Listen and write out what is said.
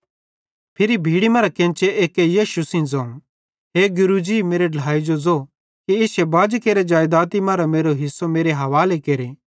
फिरी भीड़ी मरां केन्चे एक्के यीशु सेइं ज़ोवं हे गुरू जी मेरे ढ्लाए जो ज़ो कि इश्शे बाजी केरि जेइदाती मरां मेरो हिस्सो मेरे हवाले केरे